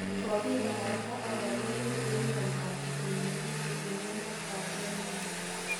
Kogibarasta orogeneet en miondoab kipindupindu en emet ab Yemeni.